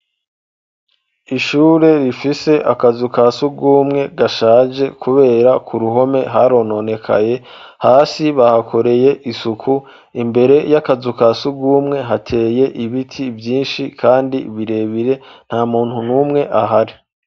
ishure rifise akazu ka sugumwe gashaje kubera ko ku ruhome harononekaye hasi bahakoreye isuku imbere y'akazu ka sugumwe hateye ibiti vyinshi kandi birebire nta muntu numwe ahari